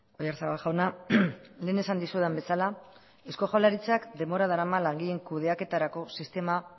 oyarzabal jauna lehen esan dizudan bezala eusko jaurlaritzak denbora darama langileen kudeaketarako sistema